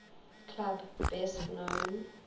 club best known